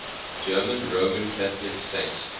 german roman catholic saints